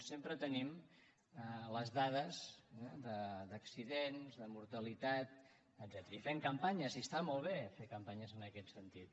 sempre tenim les dades d’accidents de mortalitat etcètera i fem campanyes i està molt bé fer campanyes en aquest sentit